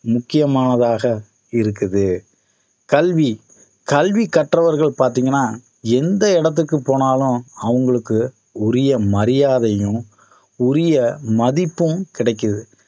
முக்கியமானதாக இருக்குது கல்வி கல்வி கற்றவர்கள் பார்த்தீங்கன்னா எந்த இடத்துக்கு போனாலும் அவங்களுக்கு உரிய மரியாதையும் உரிய மதிப்பும் கிடைக்குது